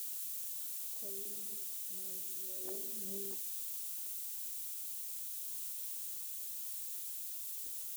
Koyei ngolyonito nebo solwet konae